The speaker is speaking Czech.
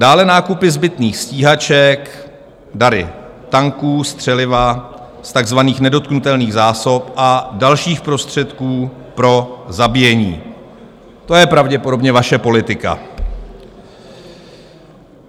Dále nákupy zbytných stíhaček, dary - tanků, střeliva - z takzvaných nedotknutelných zásob a dalších prostředků pro zabíjení, to je pravděpodobně vaše politika.